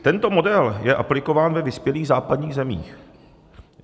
Tento model je aplikován ve vyspělých západních zemích.